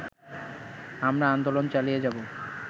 আমরা আন্দোলন চালিয়ে যাব